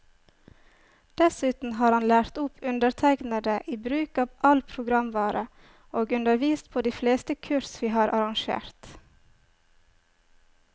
Dessuten har han lært opp undertegnede i bruk av all programvare, og undervist på de fleste kurs vi har arrangert.